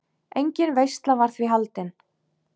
Engin veisla var því haldin.